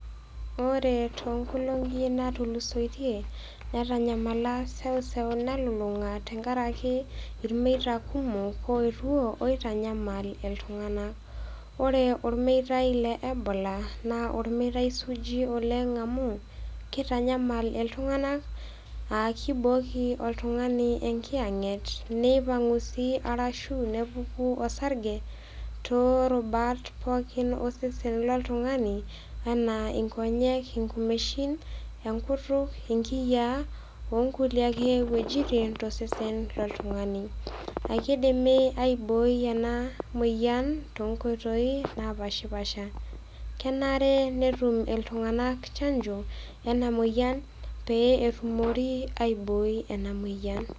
Ore too inkolong'i naatulusoitie, netanyamala eseuseu nalulung'a, tenkaraki ilmeita kumok oetuo, oitanyamal iltung'ana. Ore olmeitai le Ebola naa olmeitai suuji oleng' amu, keitanyamal iiltung'anak aa kkeibooki oltung'ani enkiyang'et neipang'u sii arashu nepuku osarge, toorubat pooki osesen loltung'ani, anaa inkonyek, inkumeshin, enkutuk, inkiyaa, o nkulie ake wuejitin tosesen loltungani. Eikeidimi aibooi ena moyian toonkoitoi napaashipaasha. Kenare netum iltung'ana chanjo, ena moyian pee etumokini aibooi ena maoyian.